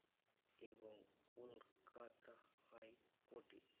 এবং Kolkata high court এ,